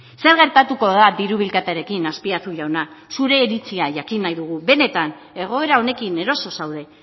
zer gertatuko da diru bilketarekin azpiazu jauna zure iritzia jakin nahi dugu benetan egoera honekin eroso zaude